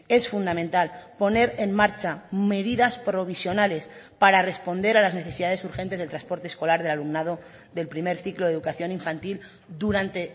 es fundamental poner en marcha medidas provisionales para responder a las necesidades urgentes del transporte escolar del alumnado del primer ciclo de educación infantil durante